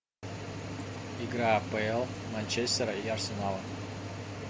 игра апл манчестера и арсенала